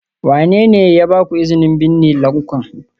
Wane ne ya ba ku izinin binne lanƙwan?